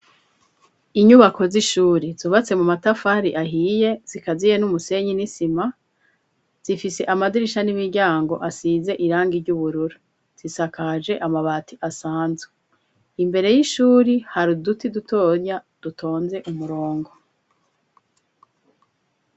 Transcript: Inyubako z'ishuri zubatse mu matafari ahiye zikaziye n'umusenyi n'isima zifise amadirisha n'imiryango asize irangi ry'ubururu zisakaje amabati asanzwe imbere y'ishuri hari uduti dutonya dutonze umurongo.